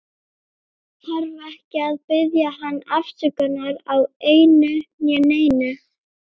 Þarf ekki að biðja hann afsökunar á einu né neinu.